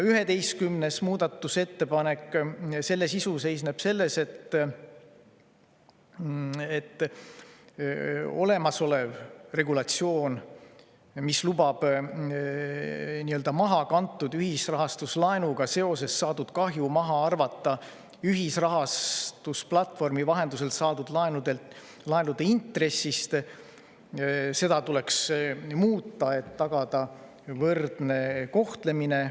11. muudatusettepaneku sisu seisneb selles, et olemasolevat regulatsiooni, mis lubab mahakantud ühisrahastuslaenuga seoses saadud kahju maha arvata ühisrahastusplatvormi vahendusel saadud laenude intressist, tuleks muuta, et tagada võrdne kohtlemine.